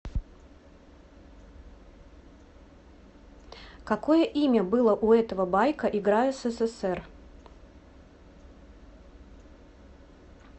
какое имя было у этого байка игра ссср